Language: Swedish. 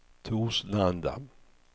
Torslanda